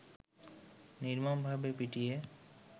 নির্মমভাবে পিটিয়ে